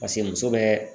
Paseke muso bɛ